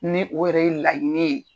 Ni o yɛrɛ ye laɲini ye.